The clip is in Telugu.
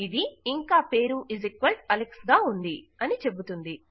ఇది ఇంకా అదే పేరు అలెక్స్ గా ఉంది అని చెబుతుంది